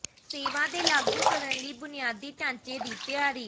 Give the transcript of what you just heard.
ਸੇਵਾ ਦੇ ਲਾਗੂ ਕਰਨ ਲਈ ਬੁਨਿਆਦੀ ਢਾਂਚੇ ਦੀ ਤਿਆਰੀ